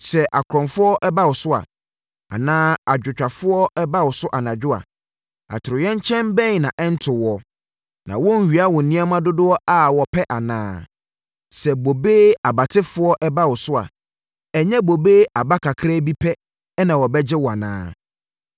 “Sɛ akorɔmfoɔ ba wo so a, anaa adwotwafoɔ ba wo so anadwo a, atoyerɛnkyɛm bɛn na ɛrento wo? Na wɔrenwia wo nneɛma dodoɔ a wɔpɛ anaa? Sɛ bobe abatefoɔ ba wo so a, ɛnyɛ bobe aba kakra bi pɛ na wɔbɛgya wo anaa?